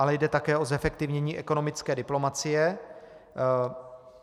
Ale jde také o zefektivnění ekonomické diplomacie.